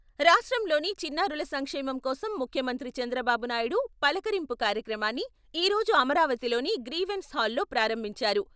రాష్ట్రంలోని చిన్నారుల సంక్షేమం కోసం ముఖ్యమంత్రి చంద్రబాబు నాయుడు 'పలకరింపు 'కార్యక్రమాన్ని ఈ రోజు అమరావతిలోని గ్రీవెన్స్ హాల్లో ప్రారంభించారు.